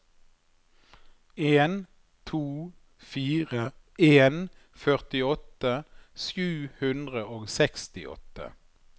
en to fire en førtiåtte sju hundre og sekstiåtte